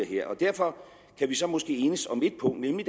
her derfor kan vi så måske enes om ét punkt nemlig